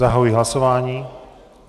Zahajuji hlasování.